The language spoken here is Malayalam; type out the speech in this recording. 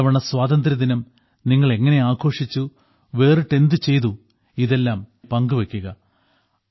ഇത്തവണ സ്വാതന്ത്ര്യദിനം നിങ്ങൾ എങ്ങനെ ആഘോഷിച്ചു വേറിട്ട് എന്തു ചെയ്തു ഇതെല്ലാം ഞാനുമായി പങ്കുവെയ്ക്കുക